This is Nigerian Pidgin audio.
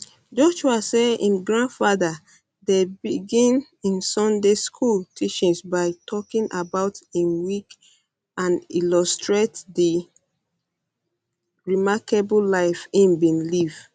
joshua say im grandfather dey begin im sunday school um teachings by talking about im week and illustrate di di remarkable life e bin live